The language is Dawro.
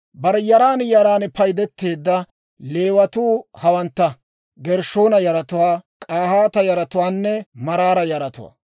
Bare yaran yaran paydeteedda Leewatuu hawantta: Gershshoona yaratuwaa, K'ahaata yaratuwaanne Maraara yaratuwaa.